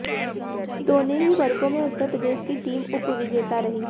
दोनों ही वर्गों में उत्तर प्रदेश की टीम उप विजेता रही